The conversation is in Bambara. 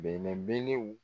Bɛnɛnbelew